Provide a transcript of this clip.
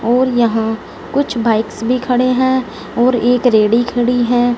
और यहां कुछ बाइक्स भी खड़े हैं और एक रेडी खड़ी हैं।